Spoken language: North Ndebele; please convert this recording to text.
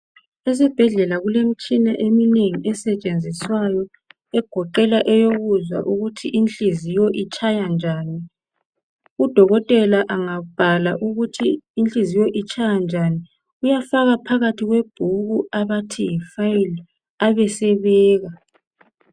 Esibhedlela kulemitshina eminengi esetshenziswayo egoqela eyokuzwa ukuthi inhliziyo itshaya njani udokotela engabhala ukuthi inhliziyo itshaya njani uyafaka phakathi kwebhuku abathi yi file abesebeka.